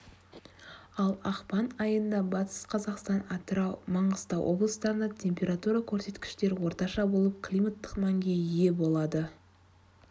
ал ақпан айында батыс қазақстан атырау маңғыстау облыстарында температура көрсеткіштері орташа болып климаттық мәнге ие болады